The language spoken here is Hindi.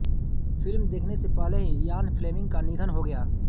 फिल्म देखने से पहले ही इयान फ्लेमिंग का निधन हो गया